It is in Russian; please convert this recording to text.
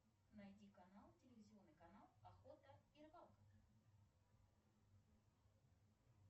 найди канал телевизионный канал охота и рыбалка